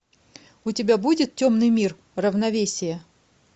у тебя будет темный мир равновесие